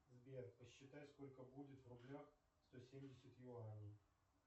сбер посчитай сколько будет в рублях сто семьдесят юаней